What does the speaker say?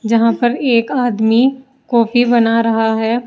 यहां पर एक आदमी कॉफी बना रहा है।